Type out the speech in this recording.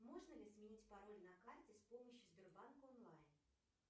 можно ли сменить пароль на карте с помощью сбербанк онлайн